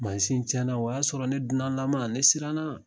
Mansin tiɲɛna o y'a sɔrɔ ne dunanlama ne siranna.